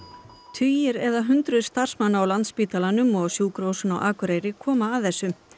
tugir eða hundruð starfsmanna á Landspítalanum og á Sjúkrahúsinu á Akureyri koma að þessu